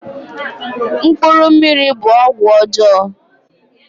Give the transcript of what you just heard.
Mkpuru mmiri' bụ ọgwụ ọjọọ